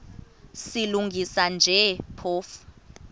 silungisa nje phofu